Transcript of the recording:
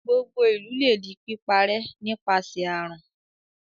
Gbogbo ìlú lè di píparẹ́ nípasẹ̀ àrùn.